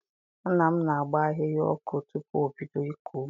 Nna m na-agba ahịhịa ọkụ tupu o bido ịkọ ugbo.